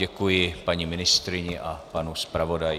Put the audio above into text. Děkuji paní ministryni a panu zpravodaji.